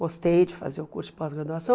Gostei de fazer o curso de pós-graduação.